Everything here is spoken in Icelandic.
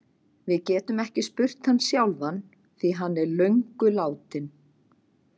Við getum ekki spurt hann sjálfan því hann er löngu látinn.